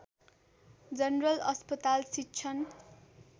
general अस्पताल शिक्षण